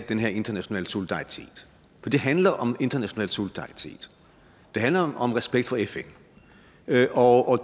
den her internationale solidaritet for det handler om international solidaritet det handler om respekt for fn og